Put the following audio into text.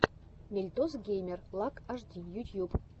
мельтос геймер лак ашди ютьюб